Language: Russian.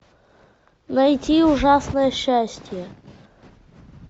найти ужасное счастье